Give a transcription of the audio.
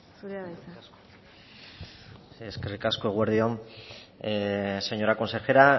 zurea da hitza eskerrik asko eguerdi on señora consejera